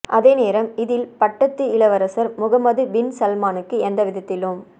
அதே நேரம் இதில் பட்டத்து இளவரசர் முகமது பின் சல்மானுக்கு எந்த விதத்திலும்